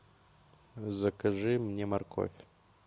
закажи мне морковь